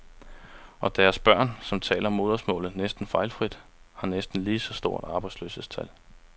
Og deres børn, som taler modersmålet næsten fejlfrit, har næsten lige så store arbejdsløshedstal.